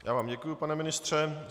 Já vám děkuji, pane ministře.